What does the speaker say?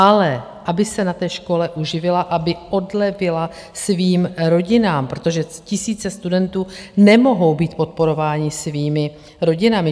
Ale aby se na té škole uživila, aby odlevila svým rodinám, protože tisíce studentů nemohou být podporováni svými rodinami.